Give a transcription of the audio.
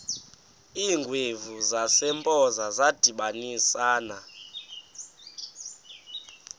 iingwevu zasempoza zadibanisana